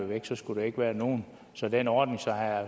væk så skulle der ikke være nogen så den ordning